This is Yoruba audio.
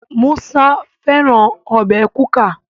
Musa fẹràn Ọbẹ̀ kuka.